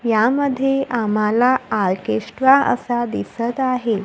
यामध्ये आम्हाला आर्केस्ट्रा असा दिसत आहे.